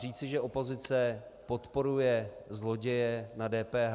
Říci, že opozice podporuje zloděje na DPH...